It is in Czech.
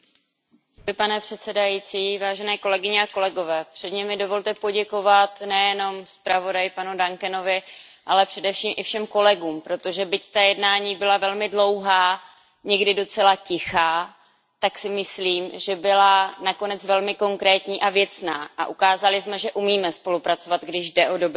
Pane předsedající, předně mi dovolte poděkovat nejenom zpravodaji, panu Duncanovi, ale především všem kolegům, protože byť ta jednání byla velmi dlouhá, někdy docela tichá, tak si myslím, že byla nakonec velmi konkrétní a věcná, a ukázali jsme, že umíme spolupracovat, když jde o dobrou věc.